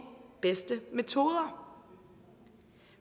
bedste metoder